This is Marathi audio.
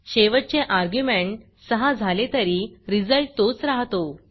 शेवटचे अर्ग्युमेंट 6 झाले तरी रिझल्ट तोच रहातो